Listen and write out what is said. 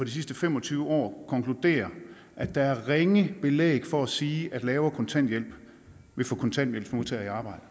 sidste fem og tyve år konkluderer at der er ringe belæg for at sige at lavere kontanthjælp vil få kontanthjælpsmodtagere